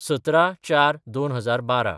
१७/०४/२०१२